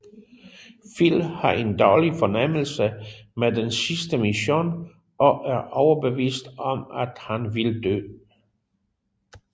Phil har en dårlig fornemmelse med den sidste mission og er overbevist om at han vil dø